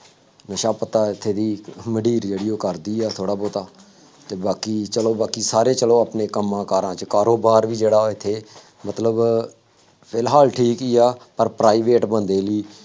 ਨਸ਼ਾ ਪੱਤਾ ਇੱਥੇ ਦੀ ਮੰਡੀਰ ਜਿਹੜੀ ਉਹ ਕਰਦੀ ਹੈ ਥੋੜ੍ਹਾ ਬਹੁਤਾ ਅਤੇ ਬਾਕੀ ਚੱਲੋ ਬਾਕੀ ਸਾਰੇ ਚੱਲੋ ਆਪਣੇ ਕੰਮਾਂ ਕਾਰਾਂ ਚ ਕਾਰੋਬਾਰ ਵੀ ਜਿਹੜਾ ਉਹ ਇੱਥੇ ਮਤਲਬ ਫਿਲਹਾਲ ਠੀਕ ਹੀ ਆ, ਪਰ private ਬੰਦੇ ਦੀ